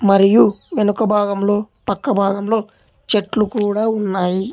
మరియు వెనుక భాగంలో పక్క భాగంలో చెట్లు కూడా ఉన్నాయి.